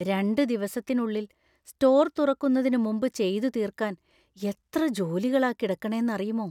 രണ്ട് ദിവസത്തിനുള്ളിൽ സ്റ്റോർ തുറക്കുന്നതിന് മുമ്പ് ചെയ്തു തീര്‍ക്കാന്‍ എത്ര ജോലികളാ കിടക്കണേന്നറിയുമോ.